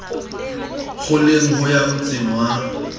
qoleng ho ya motsong wa